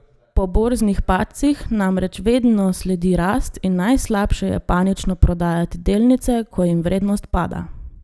Po borznih padcih namreč vedno sledi rast in najslabše je panično prodajati delnice, ko jim vrednost pada.